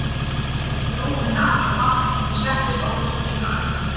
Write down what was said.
Það dró úr henni allan mátt og hún settist á rúmstokkinn hjá ömmu.